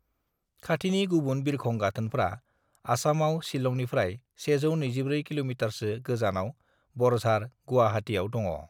"खाथिनि गुबुन बिरखं गाथोनफ्रा आसामाव शिलंनिफ्राय 124 किल'मिटारसो गोजानाव बरझार, गुवाहाटीआव दङ।"